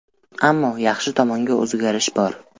Ammo yaxshi tomonga o‘zgarish bor.